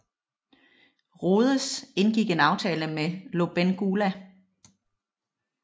Rhodes indgik en aftale med Lobengula